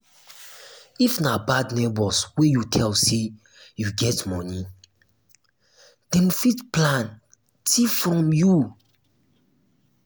if na bad neighbors wey you tell say you get money dem fit plan thief from you